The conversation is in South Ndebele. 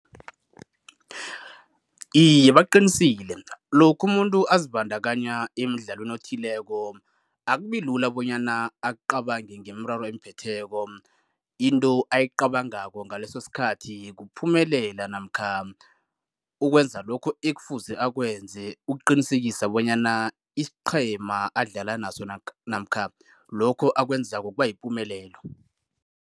Iye, baqinisile. Lokha umuntu abazibandakanya emidlalweni othileko akubi lula bonyana acabange ngemiraro emphetheko. Into ayicabangako ngaleso sikhathi kuphumelela namkha ukwenza lokhu ekufuze akwenze ukuqinisekisa bonyana isiqhema adlala naso namkha lokho akwenzako kuba yipumelelo.